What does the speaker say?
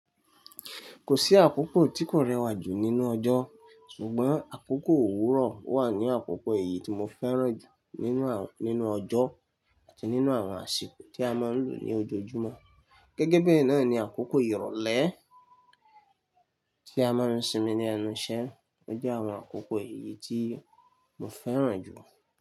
Kò sí àkókò tí kò rẹwà jù nínú ọjọ́ ṣùgbọ́n àkókò òwúrọ̀ wà ní àkókò èyí tí mo fẹ́ràn jù nínú, nínú ọjọ́ àti nínú àwọn àsìkò tí a máa ń lò ní ojoojúmọ́. Gẹ́gẹ́ bí ẹ náà ni àkókò ìrọ̀lẹ́ tí a máa ń sinmi ní ẹnu iṣẹ́ jẹ́ àwọn àkókò èyí tí mo fẹ́ràn jù.